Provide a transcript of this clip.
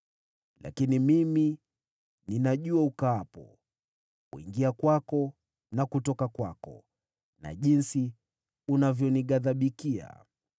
“ ‘Lakini ninajua mahali ukaapo, kutoka kwako na kuingia kwako, na jinsi unavyoghadhibika dhidi yangu.